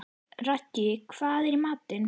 Raggi, hvað er í matinn?